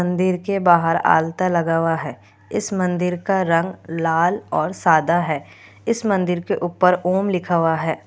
मन्दिर के बाहर आलता लगा हुआ है इस मन्दिर का रंग लाल और सादा है इस मन्दिर के उपर ओम लिखा हुआ है।